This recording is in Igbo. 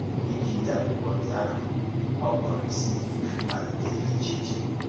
Iji dee akwụkwọ ndị̀ ahụ, ọ kpọ̀rọ isi mmalite dị iche iche.